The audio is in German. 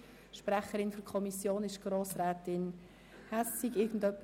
Sprecherin der Kommission ist Grossrätin Hässig.